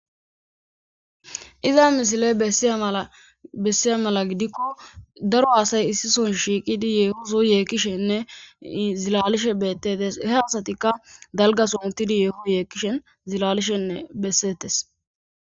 iza misile eiymaabessiya mala gidikko daro hasay issison shiiqidi yeehoso yeekishenne zilalishe beettetes he asatikka dalgasomutidi yeeho yeekishen zilalishenne bessetes